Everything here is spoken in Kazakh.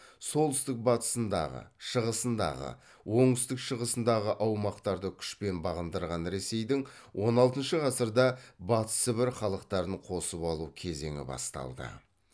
солтүстік батысындағы шығысындағы оңтүстік шығысындағы аумақтарды күшпен бағындырған ресейдің он алтыншы ғасырда батыс сібір халықтарын қосып алу кезеңі басталды